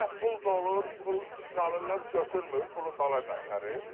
Gah pul dolur, pul salırlar, götürmür, pulu dala qaytarır.